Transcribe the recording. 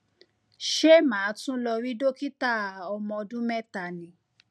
ṣé màá tún lọ rí dókítà ọmọ ọdún mẹta ni